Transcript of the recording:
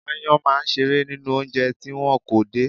Aáyán máa ń ṣeré nínú oúnjẹ tí wọn kò dè.